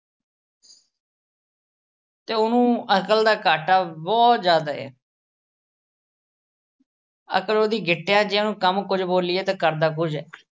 ਤੇ ਉਹਨੂੰ ਅਕਲ ਦਾ ਘਾਟਾ ਬਹੁਤ ਜ਼ਿਆਦਾ ਅਹ ਅਕਲ ਉਹਦੀ ਗਿੱਟਿਆਂ 'ਚ ਆ, ਉਹਨੂੰ ਕੰਮ ਕੁਝ ਬੋਲੀਏ, ਤੇ ਕਰਦਾ ਕੁਝ ਆ।